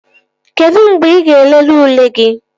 Kedụ mgbe ị ga-elele ule gị?